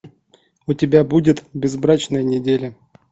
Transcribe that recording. у тебя будет безбрачная неделя